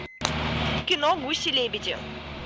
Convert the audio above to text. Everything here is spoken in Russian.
кино гуси лебеди